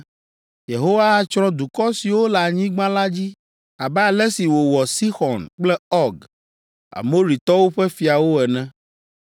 Yehowa atsrɔ̃ dukɔ siwo le anyigba la dzi abe ale si wòwɔ Sixɔn kple Ɔg, Amoritɔwo ƒe fiawo ene.